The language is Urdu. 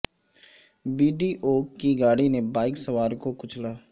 بی ڈی او کی گاڑی نے بائیک سوار کو کچلا